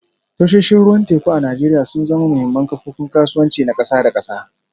Tashoshin ruwan teku a Najeriya sun zama muhimman kofofin kasuwanci na kasa da kasa